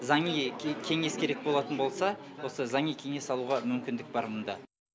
заңи кеңес керек болатын болса осы заңи кеңес алуға мүмкіндік бар мұнда